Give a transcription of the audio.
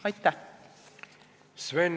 Aitäh!